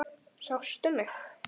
Sástu mig?